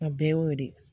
A bɛɛ y'o de ye